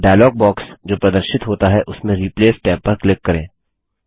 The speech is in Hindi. डायलॉग बॉक्स जो प्रदर्शित होता है उसमें रिप्लेस टैब पर क्लिक करें